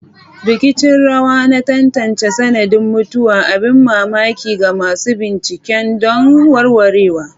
Rikicin rawa na tantance sanadin mutuwa, abin mamaki ga masu bincike don warwarewa.